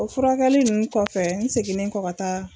O furakɛli ninnu kɔfɛ n seginnen kɔ ka taa.